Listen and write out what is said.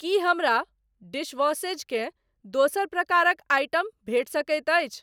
की हमरा डिशवॉशेज़ के दोसर प्रकारक आइटम भेटि सकैत अछि?